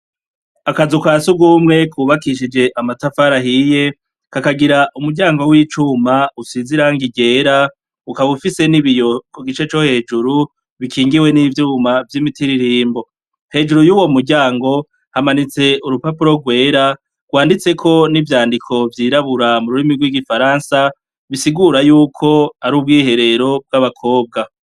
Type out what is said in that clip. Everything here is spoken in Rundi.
Akazu ka surwumwe kubakishije amatafari ahiye, kakagira umuryango w'icuma usize irangi ryera, ukaba ufise n'ibiyo ku gice co hejuru, bikingiwe n'ivyuma vy'imitiririmbo. Hejuru y'uwo muryango, hamanitse urupapuro rwera, rwanditseko n'ivyandiko vyirabura mu rurimi rw'igifaransa, bisigura yuko ari ubwiherero bw'abakobwa.